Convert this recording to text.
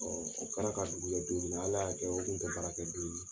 Ɔɔ o kara ka dugu jɛ don min Ala ya kɛ o kun tɛ baara kɛ don ye .